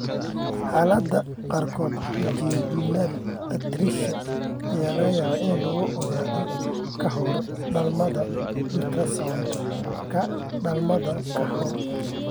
Xaaladaha qaarkood, jejunal atresia ayaa laga yaabaa in lagu ogaado ka hor dhalmada ultrasound-ka dhalmada ka hor.